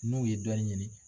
N'u ye dɔnni ɲini